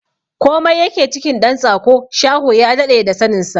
Komai yake cikin ɗan tsako, shaho ya daɗe da sanin sa!